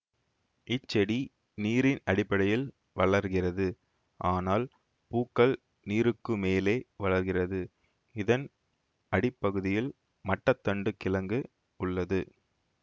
இச்செடி நீரின் அடிப்பகுதியில் வளர்கிறது ஆனால் பூக்கள் நீருக்கு மேலே வளருகிறதுஇதன் அடிப்பகுதியில் மட்டத் தண்டு கிழங்கு உள்ளது